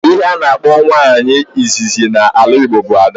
Ihe a na-akpọ nwa nwaanyị izizi na ala Igbo bụ 'ada'